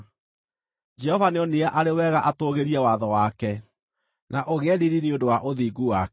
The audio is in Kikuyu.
Jehova nĩonire arĩ wega atũũgĩrie watho wake na ũgĩe riiri nĩ ũndũ wa ũthingu wake.